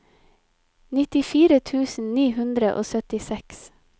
nittifire tusen ni hundre og syttiseks